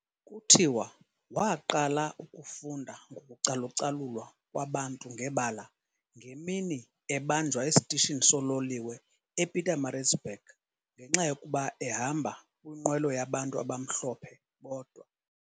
kutjiwa waqala ufunda ngoku calucalulwa kwabantu ngebala ngemini, ebanjwa estishini sololiwe ePietermaritzburg ngenxayokuba ehamba kwinqwelo yabantu abamhlophe bodwa.